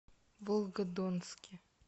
волгодонске